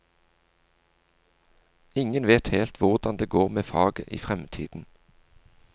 Ingen vet helt hvordan det går med faget i fremtiden.